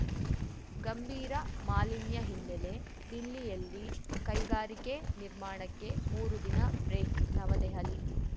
ಗಂಭೀರ ಮಾಲಿನ್ಯಹಿನ್ನೆಲೆ ದಿಲ್ಲಿಯಲ್ಲಿ ಕೈಗಾರಿಕೆ ನಿರ್ಮಾಣಕ್ಕೆ ಮೂರು ದಿನ ಬ್ರೇಕ್‌ ನವದೆಹಲಿ